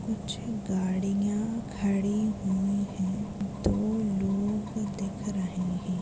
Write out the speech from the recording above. नीचे गाड़िया खड़ी हुई है दो लोग दिख रहे है।